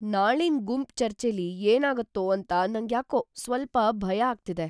ನಾಳಿನ್ ಗುಂಪ್ ಚರ್ಚೆಲಿ ಏನಾಗತ್ತೋ ಅಂತ ನಂಗ್ಯಾಕೋ ಸ್ವಲ್ಪ ಭಯ ಆಗ್ತಿದೆ.